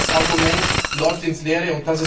Dieses Argument läuft ins Leere.